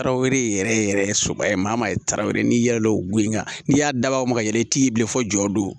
Tarawele yɛrɛ yɛrɛ so maa maa ye tarawele n'i yɛlɛ l'o goyan n'i y'a dabɔ o ma ka yɛlɛ i t'i bilen fɔ jɔ